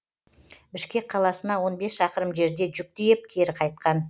бішкек қаласына он бес шақырым жерде жүк тиеп кері қайтқан